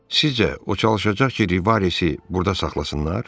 Sizcə o çalışacaq ki, Rivaresi burda saxlasınlar?